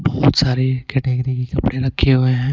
बहुत सारे कैटेगरी के कपड़े रखे हुए हैं।